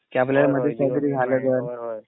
कि आपल्याला मध्ये काहीतरी झालं जर